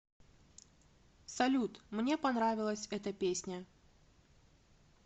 салют мне понравилась эта песня